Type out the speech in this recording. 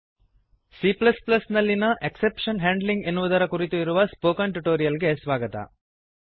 C ನಲ್ಲಿಯ exception handling exception handling ಎನ್ನುವುದರ ಕುರಿತು ಇರುವ ಸ್ಪೋಕನ್ ಟ್ಯುಟೋರಿಯಲ್ ಗೆ ಸ್ವಾಗತ